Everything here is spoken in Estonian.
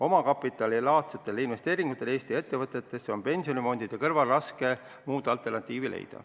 Omakapitalilaadsetele investeeringutele Eesti ettevõtetesse on pensionifondide kõrval raske alternatiivi leida.